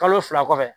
Kalo fila kɔfɛ